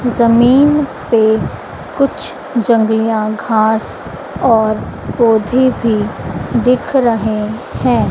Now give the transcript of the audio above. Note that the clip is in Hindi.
जमीन पे कुछ जंगलीया घास और पौधे भी दिख रहे है।